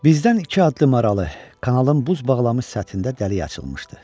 Bizdən iki addım aralı kanalın buz bağlamış səthində dəlik açılmışdı.